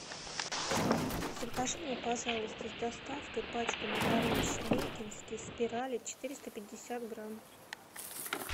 закажи мне пожалуйста с доставкой пачку макарон шебекинские спирали четыреста пятьдесят грамм